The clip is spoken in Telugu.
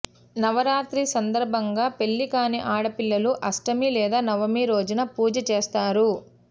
నవరాత్రి సందర్భంగా పెళ్లి కాని ఆడపిల్లలు అష్టమి లేదా నవమి రోజున పూజ చేస్తారు